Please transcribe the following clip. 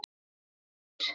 Spyrjum við okkur.